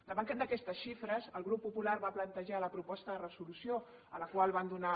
davant d’aquestes xifres el grup popular va plantejar la proposta de resolució a la qual van donar